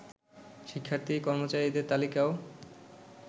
শিক্ষার্থী, কর্মচারীদের তালিকাও